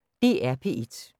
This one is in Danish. DR P1